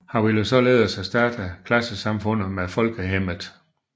Han ville således erstatte klassesamfundet med Folkhemmet